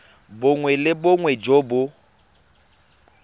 bongwe le bongwe jo bo